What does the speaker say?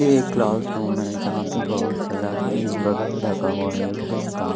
ये एक class room है जहां पे बहोत सारा बैंच वगैरा रखा हुआ है का।